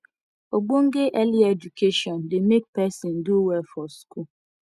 ogbonge early education de make person do well for school